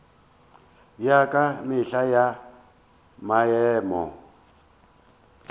ya ka mehla ya maemo